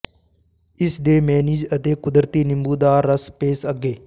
ਇਸ ਦੇ ਮੇਅਨੀਜ਼ ਅਤੇ ਕੁਦਰਤੀ ਨਿੰਬੂ ਦਾ ਰਸ ਪੇਸ਼ ਅੱਗੇ